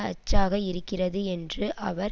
அச்சாக இருக்கிறது என்று அவர்